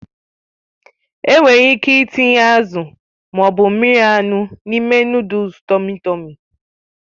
Enwere ike ịtinye azụ ma ọ bụ mmiri anụ n'ime nụ́dúls tọmmy tọ̀mmy.